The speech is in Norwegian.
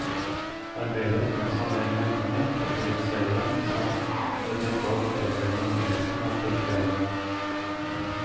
Arbeidet med å samle inn lenkene, kategorisere dem samt vedlikehold og oppdatering av indeksen er tidkrevende.